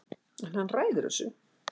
En hann ræður þessu